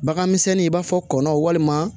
Bagan misɛnnin i b'a fɔ kɔnɔ walima